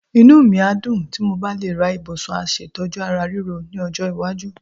Inú mi a dùn tí mo bá le ra ibùsùn aṣètọ́jú ara ríro ní ọjọ́ iwájú.